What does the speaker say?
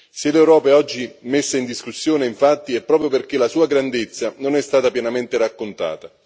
Se l'Europa è oggi messa in discussione infatti, è proprio perché la sua grandezza non è stata pienamente raccontata.